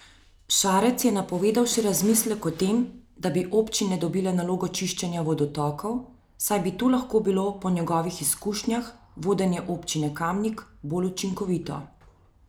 Šarec je napovedal še razmislek o tem, da bi občine dobile nalogo čiščenja vodotokov, saj bi to lahko bilo po njegovih izkušnjah vodenja občine Kamnik bolj učinkovito.